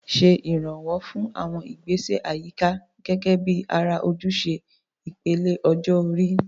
Ṣe ìrànwọ́ fún àwọn ìgbésẹ̀ àyíká gẹ́gẹ́ bí ara ojúṣe ìpele ọjọ́ orí.